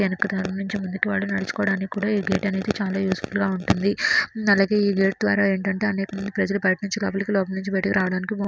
వెనక దారి నుండి ముందుకు వెళ్లే దలుచుకోడానికి కూడా ఈ గేట్ అనేది చాలా యూజ్ఫుల్ గా ఉంటుంది. అలాగే ఈ గేట్ ద్వారా ఏంటంటే పౌసీ అనేకమంది ప్రజలు బయటికి నుండి లోపలికి లోపల నుండి బయటికి రావడానికి--